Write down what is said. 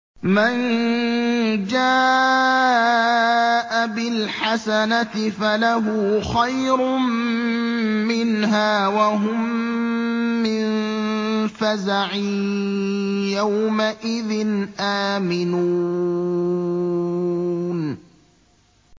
مَن جَاءَ بِالْحَسَنَةِ فَلَهُ خَيْرٌ مِّنْهَا وَهُم مِّن فَزَعٍ يَوْمَئِذٍ آمِنُونَ